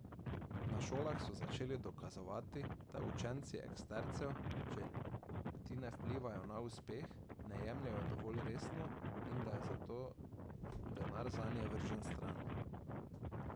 Na šolah so začeli dokazovati, da učenci ekstercev, če ti ne vplivaj na uspeh, ne jemljejo dovolj resno in da je zato denar zanje vržen stran.